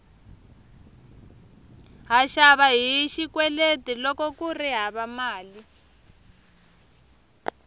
ha xava hi xikweleti loko kuri hava mali